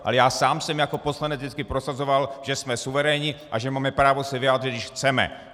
Ale já sám jsem jako poslanec vždycky prosazoval, že jsme suverénní a že máme právo se vyjádřit, když chceme!